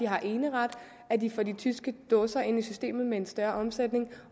har eneret at de får de tyske dåser ind i systemet med en større omsætning